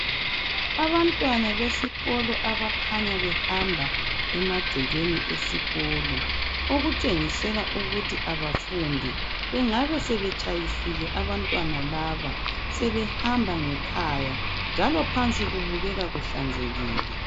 Abantwana besikolo abakhanya behamba emagcekeni esikolo .Okutshengisela ukuthi abafundi ,bengabe sebetshayisela abantwana laba .Sebehamba ngekhaya .Njalo phansi kubukeka kuhlanzekile .